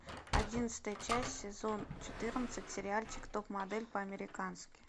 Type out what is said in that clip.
одиннадцатая часть сезон четырнадцать сериальчик топ модель по американски